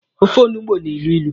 Ofe olugbu na-elu ilu.